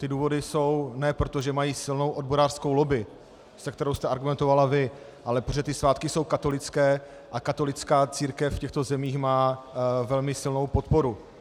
Ty důvody jsou ne proto, že mají silnou odborářskou lobby, se kterou jste argumentovala vy, ale protože ty svátky jsou katolické a katolická církev v těchto zemích má velmi silnou podporu.